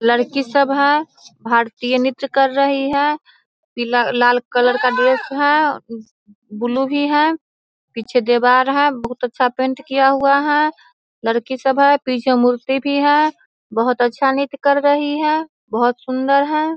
लड़की सब है। भारतीय नृत्य कर रही है। पीला लाल कलर का ड्रेस है बुलु भी है पीछे दीवार है बहुत अच्छा पेंट किया हुआ है। लड़की सब है पीछे मूर्ति भी है। बहुत अच्छा नृत्य कर रही है। बहुत सुन्दर है।